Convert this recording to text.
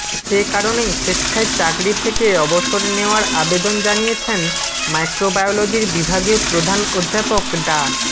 সে কারণেই স্বেচ্ছায় চাকরি থেকে অবসর নেওয়ার আবেদন জানিয়েছেন মাইক্রোবায়োলজির বিভাগীয় প্রধান অধ্যাপক ডা